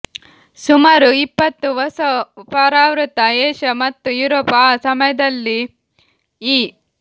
ಸುಮಾರು ಇಪ್ಪತ್ತು ಹೊಸ ಪರಾವೃತ ಏಷ್ಯಾ ಮತ್ತು ಯುರೋಪ್ ಆ ಸಮಯದಲ್ಲಿ ಈ